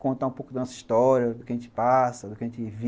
Contar um pouco da nossa história, do que a gente passa, do que a gente vive.